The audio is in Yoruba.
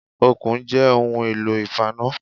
Okùn jẹ́ ohun èlò ìfaná